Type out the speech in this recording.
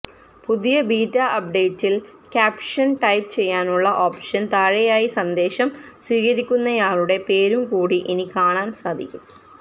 പുതിയ ബീറ്റാ അപ്ഡേറ്റില് caption type ചെയ്യാനുള്ള ഓപ്ഷന് താഴെയായി സന്ദേശം സ്വീകരിക്കുന്നയാളുടെ പേരും കൂടി ഇനി കാണാന് സാധിക്കും